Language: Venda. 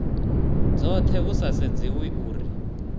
dzothe hu sa sedziwi uri